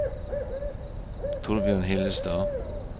Torbjørn Hillestad